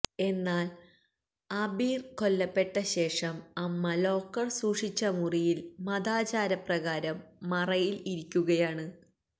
എന്നാൽ ആബിർ കൊല്ലപ്പെട്ട ശേഷം അമ്മ ലോക്കർ സൂക്ഷിച്ച മുറിയിൽ മതാചാരപ്രകാരം മറയിൽ ഇരിക്കുകയാണ്